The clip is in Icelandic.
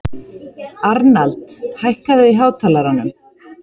Arnald, hækkaðu í hátalaranum.